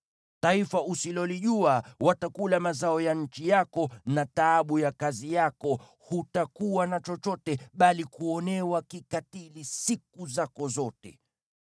Taifa usilolijua watakula mazao ya nchi yako na taabu ya kazi yako, hutakuwa na chochote, bali kuonewa kikatili siku zako zote.